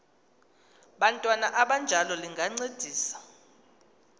bantwana abanjalo lingancedisa